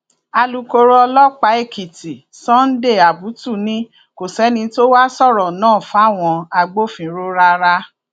alūkkóró ọlọpàá èkìtì sunday abutu ni kò sẹni tó wàá sọrọ náà fáwọn agbófinró rárá